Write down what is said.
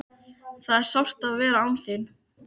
Það er sárt að vera án þín.